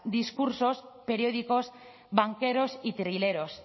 discursos periódicos banqueros y trileros